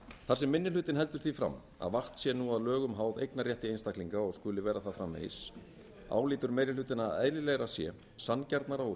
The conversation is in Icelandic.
þar sem minni hlutinn heldur því fram að vatn sé nú að lögum háð eignarrétti einstaklinga og skuli vera það framvegis álítur meiri hlutinn að eðlilegra sé sanngjarna og